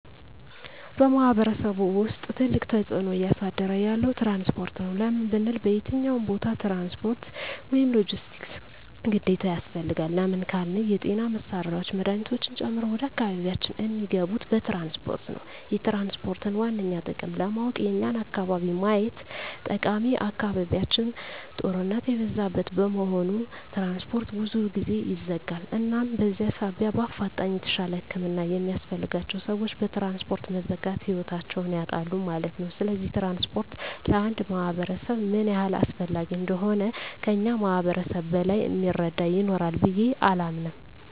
በማሕበረሰቡ ውስጥ ትልቅ ተፅዕኖ እያሳደረ ያለዉ ትራንስፖርት ነዉ። ለምን ብንል በየትኛዉም ቦታ ትራንስፖርት(ሎጀስቲክስ) ግዴታ ያስፈልጋል። ለምን ካልን የጤና መሳሪያወች መድሀኒቶችን ጨምሮ ወደ አካባቢያችን እሚገቡት በትራንስፖርት ነዉ። የትራንስፖርትን ዋነኛ ጥቅም ለማወቅ የኛን አካባቢ ማየት ጠቃሚ አካባቢያችን ጦርነት የበዛበት በመሆኑ ትራንስፖርት ብዙ ጊዜ ይዘጋል እናም በዚህ ሳቢያ በአፋጣኝ የተሻለ ህክምና የሚያስፈልጋቸዉ ሰወች በትራንስፖርት መዘጋት ህይወታቸዉን ያጣሉ ማለት ነዉ። ስለዚህ ትራንስፖርት ለአንድ ማህበረሰብ ምን ያህል አስፈላጊ እንደሆነ ከእኛ ማህበረሰብ በላይ እሚረዳ ይኖራል ብየ አላምንም።